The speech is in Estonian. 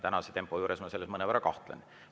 Tänase tempo juures ma selles mõnevõrra kahtlen.